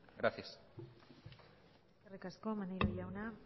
gracias eskerrik asko maneiro jauna